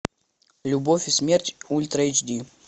любовь и смерть ультра эйч ди